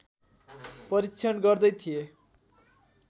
परीक्षण गर्दै थिए